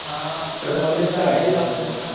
हा कॉलेज चा I D दाखवला ना.